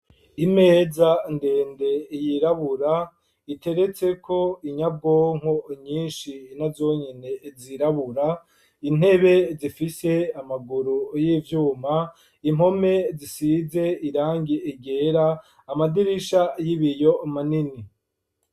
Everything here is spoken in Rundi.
Imeza ndende yirabura iteretseko inyabonko nyinshi nazo nyene zirabura intebe zifise amaguru y'ivyuma impome zisize irangi ryera amadirisha y'ibiyo manini.